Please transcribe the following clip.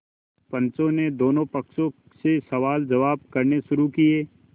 पंचों ने दोनों पक्षों से सवालजवाब करने शुरू किये